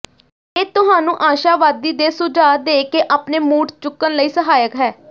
ਇਹ ਤੁਹਾਨੂੰ ਆਸ਼ਾਵਾਦੀ ਦੇ ਸੁਝਾਅ ਦੇ ਕੇ ਆਪਣੇ ਮੂਡ ਚੁੱਕਣ ਲਈ ਸਹਾਇਕ ਹੈ